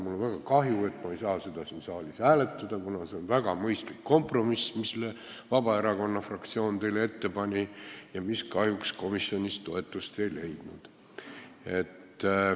Mul on väga kahju, et me ei saa seda siin saalis hääletada, kuna see on väga mõistlik kompromiss, mille Vabaerakonna fraktsioon teile ette pani, aga mis kahjuks komisjonis toetust ei leidnud.